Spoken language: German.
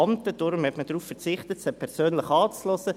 Daher hat man darauf verzichtet, sie persönlich anzuhören.